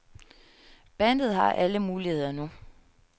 Bandet har alle muligheder nu.